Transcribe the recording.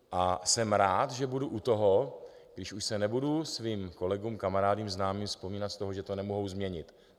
A jsem rád, že budu u toho, když už se nebudu svým kolegům, kamarádům, známým zpovídat z toho, že to nemohu změnit.